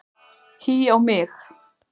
Hí á mig!